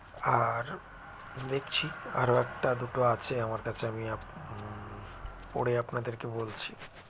আর দেখছি আর একটা দুটো আছে আমার কাছে আমি আপ মম পড়ে আপনাদেরকে বলছি